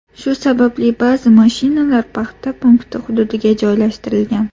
Shu sababli ba’zi mashinalar paxta punkti hududiga joylashtirilgan.